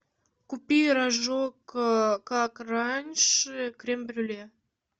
купи рожок как раньше крем брюле